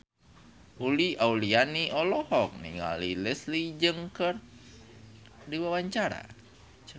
Uli Auliani olohok ningali Leslie Cheung keur diwawancara